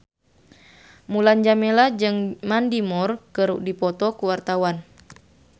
Mulan Jameela jeung Mandy Moore keur dipoto ku wartawan